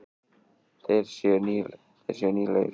Þeir séu nýlegir.